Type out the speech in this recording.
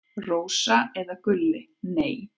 Rósa eða Gulli: Nei.